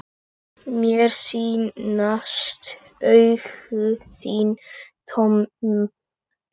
Mér sýnast augu þín tóm.